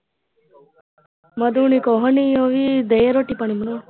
ਮਧੂ ਹੋਣੀ ਕੁਝ ਨਹੀ ਉਹ ਵੀ ਦੇ ਰੋਟੀ ਪਾਣੀ ਪਕਾਉਣ।